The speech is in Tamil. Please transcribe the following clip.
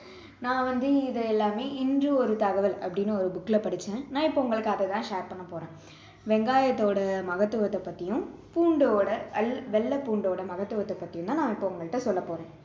நான் வந்து இதை எல்லாமே இன்று ஒரு தகவல் அப்படின்னு ஒரு book ல படிச்சேன் நான் இப்போ உங்களுக்கு அதை தான் share பண்ண போறேன் வெங்காயத்தோட மகத்துவத்தை பத்தியும் பூண்டோட வெள்~ வெள்ளை பூண்டோட மகத்துவத்தை பத்தியும் தான் நான் இப்போ உங்கள்ட்ட சொல்ல போறேன்